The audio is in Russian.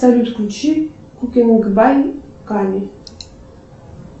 салют включи куки мукбай ками